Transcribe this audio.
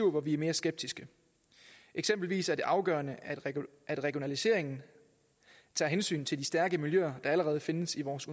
hvor vi er mere skeptiske eksempelvis er det afgørende at regionaliseringen tager hensyn til de stærke miljøer der allerede findes i vores